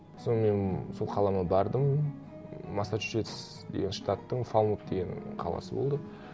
сонымен сол қалама бардым массачусетс деген штаттың фалмут деген қаласы болды